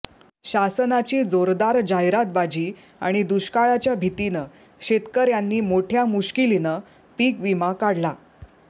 शासनाची जोरदार जाहिरातबाजी आणि दुष्काळाच्या भीतीनं शेतकऱ्यांनी मोठ्या मुश्किलीनं पीक विमा काढला